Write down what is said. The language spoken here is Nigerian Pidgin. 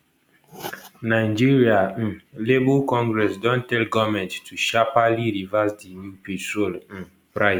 nigeria um labour congress don tell goment to sharpely reverse di new petrol um price